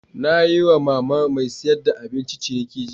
Na yi wa mama mai siyar da abinci ciniki jiya.